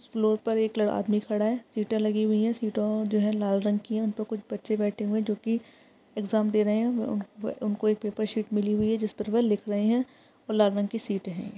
इस फ्लोर पर एक ल आदमी खड़ा है। सीटें लगी हुई है। सीटों जो है लाल रंग की है। उनपे कुछ बच्चे बैठे हुयें हैं जो कि एक्साम दे रहे हैं। उनको एक पेपर शीट मिली हुई है जिस पर वो लिख रहे हैं और लाल रंग की शीट है।